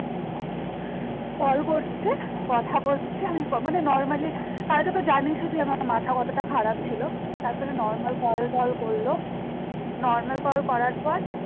call করছে কথা বলছে আমি মানে normally কালকে তো জানিসই তুই আমার মাথা কতটা খারাপ ছিল তারপরে normal কল টল করলো normal কল করার পর